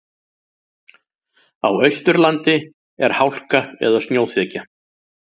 Á Austurlandi er hálka eða snjóþekja